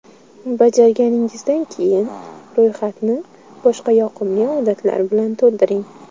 Bajarganingizdan keyin, ro‘yxatni boshqa yoqimli odatlar bilan to‘ldiring.